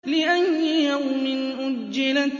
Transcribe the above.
لِأَيِّ يَوْمٍ أُجِّلَتْ